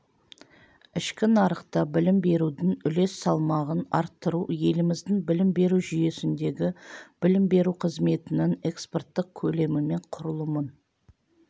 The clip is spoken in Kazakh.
ішкі нарықта білім берудің үлес салмағын арттыру еліміздің білім беру жүйесіндегі білім беру қызметінің экспорттық көлемі мен құрылымын